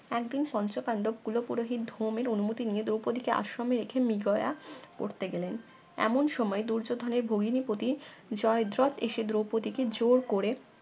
একদিন পঞ্চপান্ডব কুল পুরহিত ধুমে অনুমতি নিয়ে দ্রৌপদী কে আশ্রমে রেখে মৃগয়া করতে গেলেন এমন সময় দুর্যোধনের ভগ্নিপতী জয়দ্রত এসে দ্রৌপদীকে জোর করে